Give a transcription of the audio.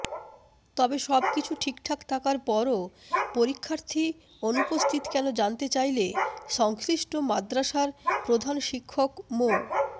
তবে সবকিছু ঠিকঠাক থাকার পরও পরীক্ষার্থী অনুপস্থিত কেন জানতে চাইলে সংশ্লিষ্ট মাদ্রাসার প্রধান শিক্ষক মো